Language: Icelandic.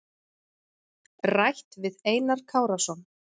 Rætt við Einar Kárason.